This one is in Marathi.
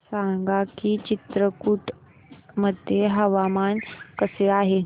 सांगा की चित्रकूट मध्ये हवामान कसे आहे